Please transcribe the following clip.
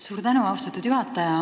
Suur tänu, austatud juhataja!